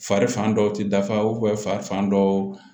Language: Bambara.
Fari fan dɔw ti dafa fa dɔw